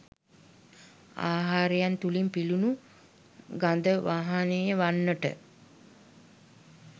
ආහාරයන් තුළින් පිළිනු ගද වහනය වන්නට